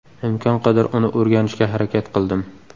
Imkon qadar uni o‘rganishga harakat qildim.